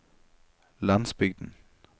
landsbygden